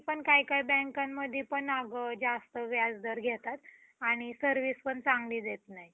दृष्टिकोण हा, अंत्यत महत्त्वपूर्ण शब्द आहे. जीवनाच्या प्रत्येक क्षेत्रात मग तो, जीवनाचा व्यक्तित्व भाग असो कि, व्यावसायिक दृष्टिकोनाचे महत्त्व अन्यसाधारण असते. कोणीही आधी.